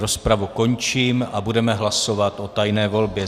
Rozpravu končím a budeme hlasovat o tajné volbě.